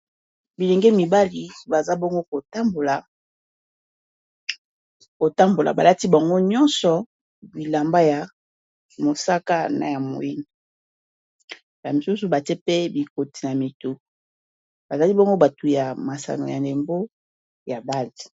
Bilenge mibali baza bongo kotambola balati bango nyonso bilamba ya mosaka na moini na misusu bate pe bikoti na mituu bazali bongo batu ya masano ya ndembo ya bale.